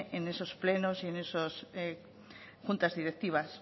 en esos plenos y en esas juntas directivas